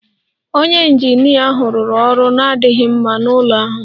Onye injinia ahụ rụrụ ọrụ na-adịghị mma n'ụlọ ahụ